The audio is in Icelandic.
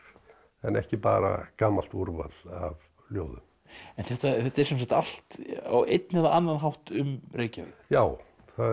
en ekki bara gamalt úrval af ljóðum en þetta er allt á einn eða annan hátt um Reykjavík já